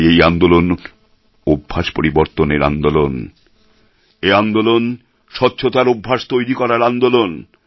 তাই এই আন্দোলন অভ্যাস পরিবর্তনের আন্দোলন এই আন্দোলন স্বচ্ছতার অভ্যাস তৈরি করার আন্দোলন